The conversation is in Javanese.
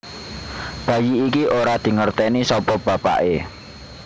Bayi iki ora dingerteni sapa bapaké